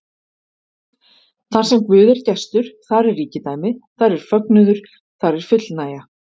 Þarsem Guð er gestur, þar er ríkidæmi, þar er fögnuður, þar er fullnægja.